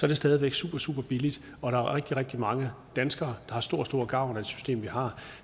er stadig væk super super billigt og der er rigtig rigtig mange danskere har stor stor gavn af det system vi har